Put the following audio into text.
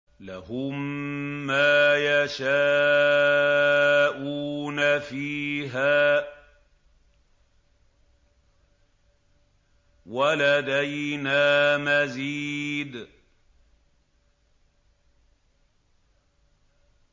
لَهُم مَّا يَشَاءُونَ فِيهَا وَلَدَيْنَا مَزِيدٌ